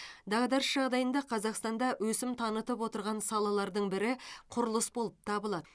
дағдарыс жағдайында қазақстанда өсім танытып отырған салалардың бірі құрылыс болып табылады